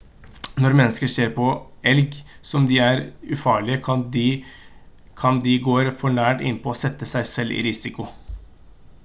når mennesker ser på elg som om de er ufarlig kan de går for nært innpå og sette seg selv i risiko